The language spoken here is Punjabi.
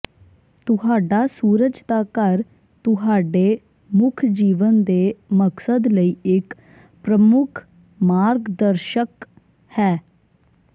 ਤੁਹਾਡਾ ਸੂਰਜ ਦਾ ਘਰ ਤੁਹਾਡੇ ਮੁੱਖ ਜੀਵਨ ਦੇ ਮਕਸਦ ਲਈ ਇੱਕ ਪ੍ਰਮੁੱਖ ਮਾਰਗਦਰਸ਼ਕ ਹੈ